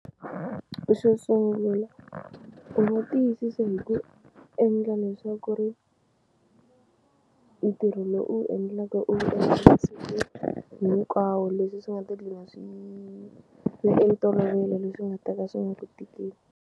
Xo sungula u nga tiyisisa hi ku endla leswaku ri ntirho lowu u wu endlaka u masiku hinkwawo leswi swi nga ta gcina swi swi ve ntolovelo leswi nga ta ka swi nga ku tikeli.